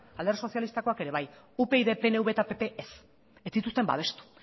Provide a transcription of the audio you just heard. alderdi sozialistakoak ere bai upyd pnv eta pp ez ez zituzten babestu